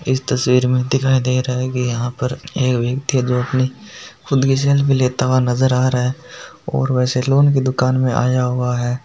इस तस्वीर में दिखाई दे रहा है की यहाँ पर ये व्यक्ति है जो अपनी खुदकी सेल्फी लेता हुआ नज़र आ रहा है और वो सेलोन की दुकान में आया हुआ है।